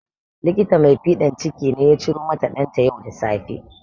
Likita mai fiɗan ciki ne ya ciromata ɗanta yau da safe